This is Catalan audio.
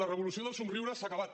la revolució dels somriures s’ha acabat